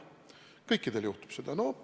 Kõikidel juhtub seda.